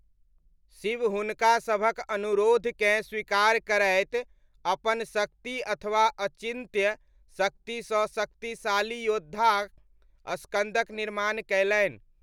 शिव हुनका सभक अनुरोधकेँ स्वीकार करैत अपन शक्ति अथवा अचिन्त्य शक्तिसँ शक्तिशाली योद्धा स्कन्दक निर्माण कयलनि।